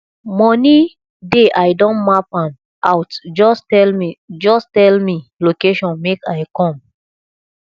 money dey i don map am out just tell me just tell me location make i come